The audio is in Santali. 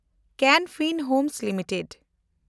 Ken Fin Homes limited